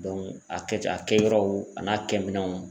a kɛ a kɛ yɔrɔw a n'a kɛ minɛnw